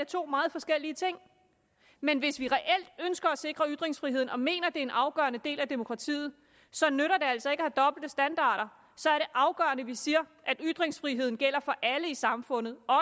to meget forskellige ting men hvis vi reelt ønsker at sikre ytringsfriheden og mener at det er en afgørende del af demokratiet så nytter det altså ikke at have dobbelte standarder så er det afgørende at vi siger at ytringsfriheden gælder for alle i samfundet